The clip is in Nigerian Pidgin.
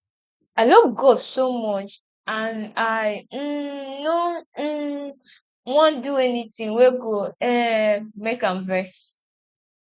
i love god so much and i um no um want do anything wey go um make am vex